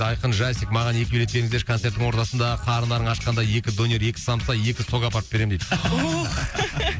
айқын жасик маған екі билет беріңіздерші концерттің ортасында қарындарың ашқанда екі донер екі самса екі сок апарып беремін дейді ох